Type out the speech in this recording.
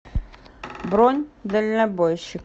бронь дальнобойщик